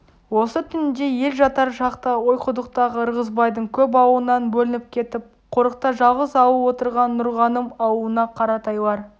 осы түнде ел жатар шақта ойқұдықтағы ырғызбайдың көп аулынан бөлініп кетіп қорықта жалғыз ауыл отырған нұрғаным аулына қаратайлар